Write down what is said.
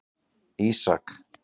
Ísak